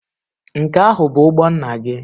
Nke ahụ bụ ụgbọ nna gị?